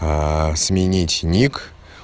сменить ник